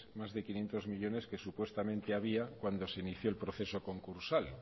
más de quinientos millónes que supuestamente había cuando se inició el proceso concursal